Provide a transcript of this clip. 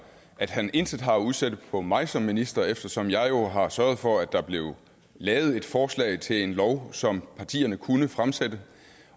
at han intet har at udsætte på mig som minister eftersom jeg jo har sørget for at der blev lavet et forslag til en lov som partierne kunne fremsætte